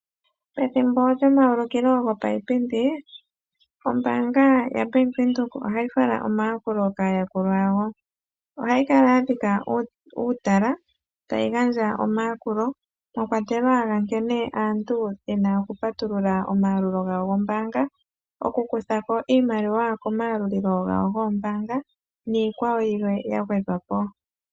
Pethimbo lyomaulukilo gopaipindi ombaanga yaBank Windhoek ohayi fala omayakulo kaayakulwa yawo. Ohayi kala ya dhika uutala, tayi gandja omayakulo, mwa kwatelwa ga nkene aantu yena oku patulula omayakulo gawo gombaang, oku kutha ko iimaliwa komayalululo gawo gombaanga niikwawo yilwe ya gwedhwa po.